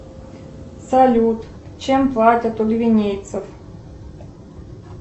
салют чем платят у гвинейцев